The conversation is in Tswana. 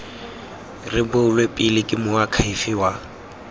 rebolwe pele ke moakhaefe wa